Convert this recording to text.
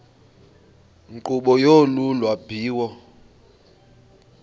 nkqubo yolu lwabiwo